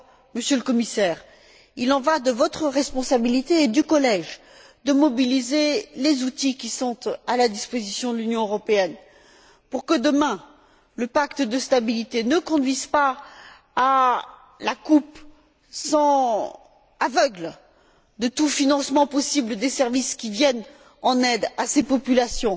Monsieur le Commissaire, il en va de votre responsabilité, et de celle du collège, de mobiliser les outils qui sont à la disposition de l'Union européenne pour que demain, le pacte de stabilité ne conduise pas à la coupe aveugle de tout financement possible des services qui viennent en aide à ces populations,